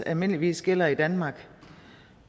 almindeligvis gælder i danmark